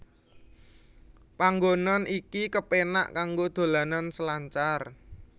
Panggonan iki kepenak kanggo dolanan selancar